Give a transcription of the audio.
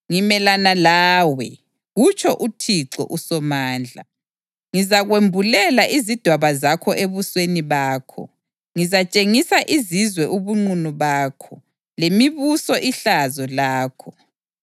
“Ngimelana lawe,” kutsho uThixo uSomandla. “Ngizakwembulela izidwaba zakho ebusweni bakho. Ngizatshengisa izizwe ubunqunu bakho, lemibuso ihlazo lakho.